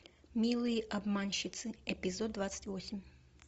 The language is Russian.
милые обманщицы эпизод двадцать восемь